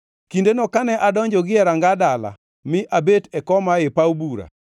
“Kindeno kane adonjo gie ranga dala mi abet e koma ei paw bura,